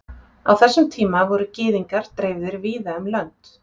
Á þessum tíma voru Gyðingar dreifðir víða um lönd.